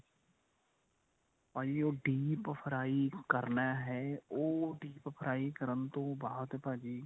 ਭਾਜੀ ਉਹ deep fry ਕਰਨਾ ਹੈ ਉਹ deep fry ਕਰਨ ਤੋਂ ਬਾਅਦ ਭਾਜੀ